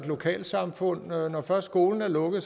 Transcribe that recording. lokalsamfund når først skolen er lukket